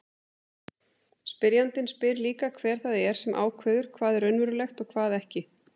Spyrjandinn spyr líka hver það er sem ákveður hvað er raunverulegt og hvað ekki.